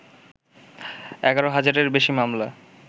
১১ হাজারের বেশি মামলা